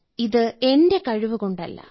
ഇത് എന്റെ കഴിവ് കൊണ്ടല്ല